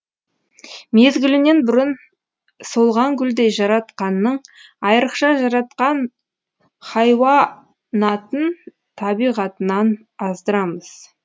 мезгілінен бұрын солған гүлдей жаратқанның айрықша жаратқан хайуанатын табиғатынан аздырамыз